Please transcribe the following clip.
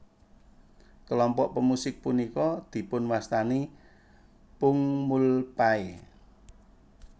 Kelompok pemusik punika dipunwastani pungmulpae